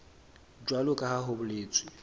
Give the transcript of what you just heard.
jwalo ka ha ho boletswe